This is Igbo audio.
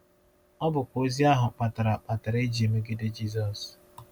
Ọ bụkwa ozi ahụ kpatara kpatara e ji emegide Jizọs.